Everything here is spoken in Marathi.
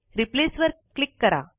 रिप्लेस वर क्लिक करा